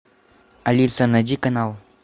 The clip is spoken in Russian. алиса найди канал